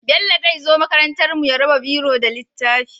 Bello zai zo makarantar mu ya raba biro da littafi